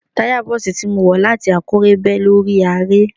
Táya Bọ́ọ̀sì tí mo wọ̀ láti Àkúrẹ́ bẹ́ lórí aré.